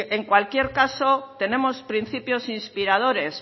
en cualquier caso tenemos principios inspiradores